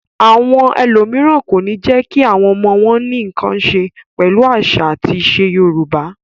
Àwọn ẹlòmíràn kò ní jẹ́ kí àwọn ọmọ wọn ní nǹkan ṣe pẹ̀lú àṣà àti ìṣe Yorùbá.